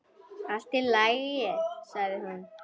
Allt í lagi, sagði hún.